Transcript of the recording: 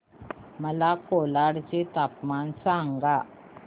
मला कोलाड चे तापमान सांगा